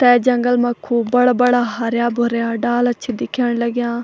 तै जंगल मा खूब बड़ा-बड़ा हर्यां-भर्यां डाला छि दिखेंण लग्याँ।